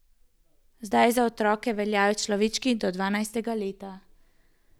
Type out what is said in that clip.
Zdaj za otroke veljajo človečki do dvanajstega leta.